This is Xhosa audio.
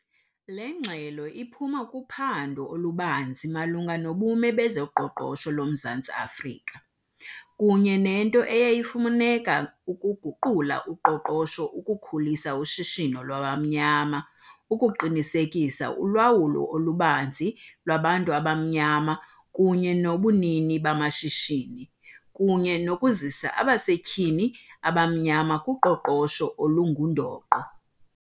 Le ngxelo iphuma kuphando olubanzi malunga nobume bezoqoqosho loMzantsi Afrika, kunye nento eyayifumaneka ukuguqula uqoqosho, ukukhulisa ushishino lwabamnyama, ukuqinisekisa ulawulo olubanzi lwabantu abamnyama kunye nobunini bamashishini, kunye nokuzisa abasetyhini abamnyama kuqoqosho olungundoqo.